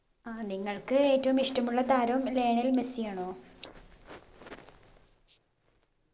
ആ നിങ്ങൾക്ക് ഏറ്റവും ഇഷ്ട്ടമുള്ള താരം ലയണൽ മെസ്സി ആണോ